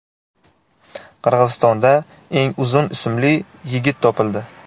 Qirg‘izistonda eng uzun ismli yigit topildi.